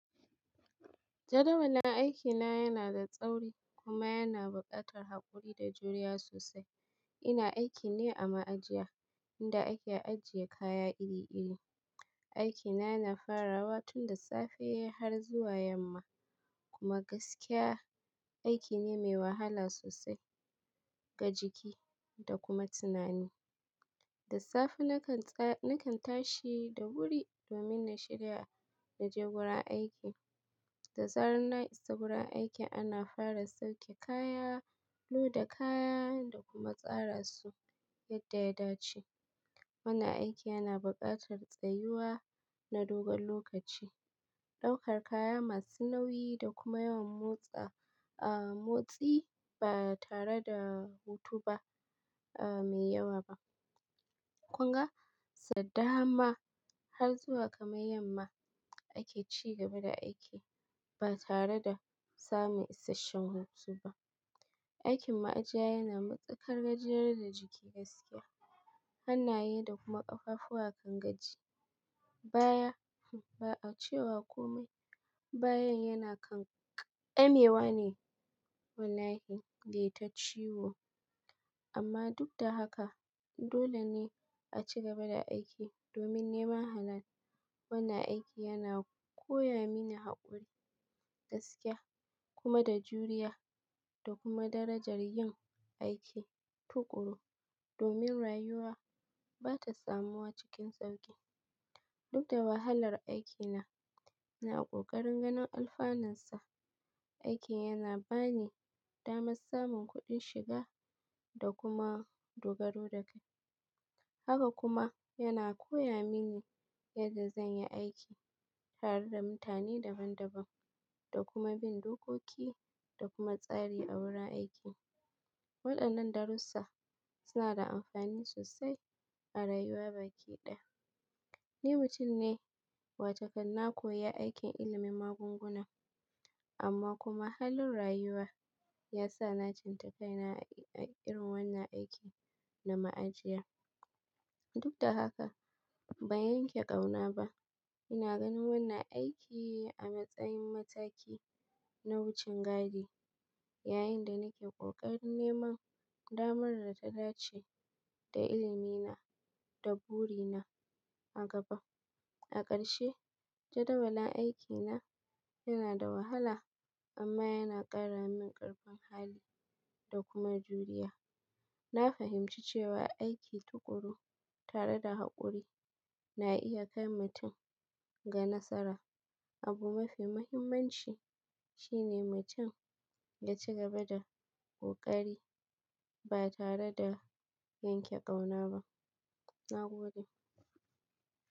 Jadawalin aikina yana da tsauri kuma yana buƙatar haƙuri da juriya sosai. Ina aiki ne a ma'ajiya inda ake ajiye kaya iri-iri. Aiki na yana farawa tun da safe har zuwa yamma kuma gaskiya aiki ne mai wahala sosai ga jiki da kuma tunani. Da safe nakan tashi da wuri domin na shirya na je wurin aiki. Da zarar na isa wurin aiki ana fara sauke kaya, loda kaya da kuma tsara su yadda ya dace. Wannan aiki yana buƙatar tsayuwa na dogon lokaci, ɗaukar kaya masu nauyi da kuma yawan motsa, ah, motsi ba tare da hutu ba, ah, mai yawa ba. Kun ga? Sadda ma har zuwa kamar yamma ake ci gaba da aiki ba tare da samun isasshen hutu ba. Aikin ma'ajiya yana matukar gajiyar da jiki gaskiya. Hannaye da kuma ƙafafuwa kan gaji. Baya, ba'a cewa komai, bayan yana kam ƙamewa ne wallahi dai ta ciwo. Amma duk da haka dole ne a ci gaba da aiki domin neman halal. Wannan aiki yana koya mini haƙuri gaskiya kuma da juriya da kuma darajar yin aiki tuƙuru domin rayuwa ba ta samu wa cikin sauƙi. Duk da wahalar aikina ina ƙoƙarin ganin alfanunsa. Aiki yana ba ni damar samun kuɗin shiga da kuma dogaro da kai. Haka kuma yana koya mini yadda zan yi aiki tare da mutane daban-daban da kuma bin dokoki da kuma tsari a wurin aiki. Waɗannan darussa suna da amfani sosai a rayuwa baki ɗaya. Ni mutum ne watakan na koyi aikin ilimin magunguna amma kuma halin rayuwa ya sa na tsinta kai na a irin wannan aiki na ma'ajiya. Duk da haka ban yanke ƙauna ba. Ina ganin wannan aiki a matsayin mataki na wucin gadi yayinda nake ƙoƙarin neman damar da ta dace da ilimi na da buri na a gaba. A ƙarshe jadawalin aikina yana da wahala amma yana ƙara min ƙarfin hali da kuma juriya. Na fahimci cewa aiki tuƙuru tare da haƙuri na iya kai mutum ga nasara. Abu mafi muhimmanci shine mutum ya ci gaba da ƙoƙari ba tare da yanke ƙauna ba. Na gode.